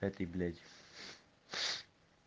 эти блядь